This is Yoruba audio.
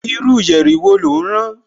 Irú yẹ̀rì wo lò ń rán